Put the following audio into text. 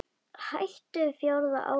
Hættum fjórða ágúst.